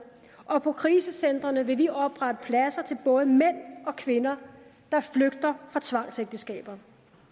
og på krisecentrene vil vi oprette pladser til både mænd og kvinder der flygter fra tvangsægteskaber